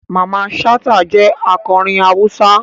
Mamman Shata jẹ akọrin Hausa.